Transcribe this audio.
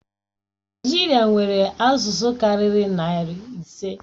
Naijiria nwere asụsụ karịrị narị ise.